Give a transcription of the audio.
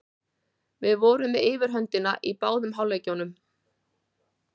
Við vorum með yfirhöndina í báðum hálfleikjunum.